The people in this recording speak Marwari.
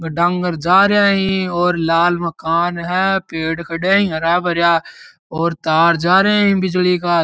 वो डांगर जा रैया ही और लाल मकान है पेड़ खड़ा ही हरा भरा और तार जा र है बिजली का --